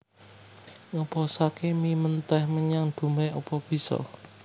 Ngeposake mie menteh menyang Dumai opo biso?